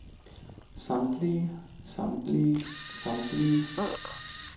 samtlige samtlige samtlige